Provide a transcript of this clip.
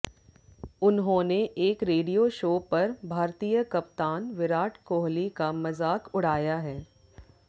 उन्होंने एक radio show पर भारतीय कप्तान विराट कोहली का मज़ाक उड़ाया है